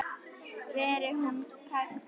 Veri hún kært kvödd.